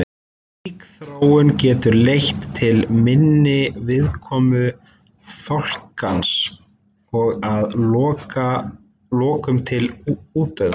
Slík þróun getur leitt til minni viðkomu fálkans og að lokum til útdauða.